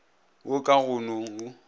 wo ka go no o